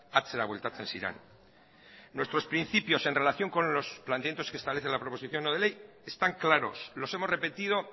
atzera bueltatzen ziren nuestros principios en relación con los planteamientos que establece la proposición no de ley están claros los hemos repetido